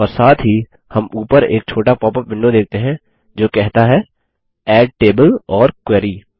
और साथ ही हम उपर एक छोटा पॉपअप विंडो देखते हैं जो कहता है एड टेबल ओर क्वेरी